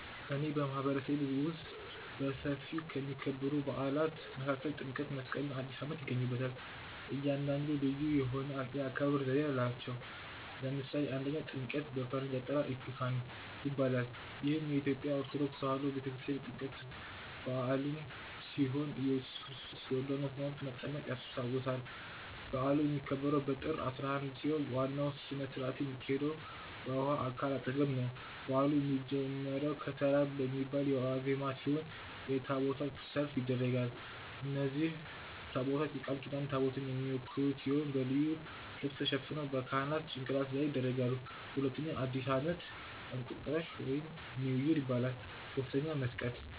በእኔ ማህበረሰብ ውስጥ በሰፊው ከሚከበሩ በዓላት መካከል ጥምቀት፣ መስቀል እና አዲስ አመት ይገኙበታል። እያንዳንዱ ልዩ የሆነ የአከባበር ዘዴ አለው። ለምሳሌ 1, ጥምቀት(በፈረንጅ አጠራር epiphany ) ይባላል። ይህ የኢትዮጵያ ኦርቶዶክስ ተዋህዶ ቤተክርስቲያን የጥምቀትን በዓል ሲሆን የኢየሱስ ክርስቶስን በዮርዳኖስ ወንዝ መጠመቅ ያስታውሳል። በዓሉ የሚከበረው በጥር 11 ሲሆን ዋናው ሥነ-ስርዓት የሚካሄደው በውኃ አካል አጠገብ ነው። በዓሉ የሚጀምረው "ከተራ" በሚባለው ዋዜማ ሲሆን የታቦታት ሰልፍ ይደረጋል። እነዚህ ታቦታት የቃል ኪዳን ታቦትን የሚወክሉ ሲሆን በልዩ ልብስ ተሸፍነው በካህናት ጭንቅላት ላይ ይደረጋሉ። 2. አዲስ ዓመት /እንቁጣጣሽ (new year) ይባላል። 3. መስቀል